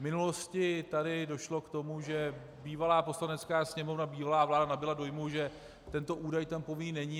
V minulosti tady došlo k tomu, že bývalá Poslanecká sněmovna, bývalá vláda nabyly dojmu, že tento údaj tam povinný není.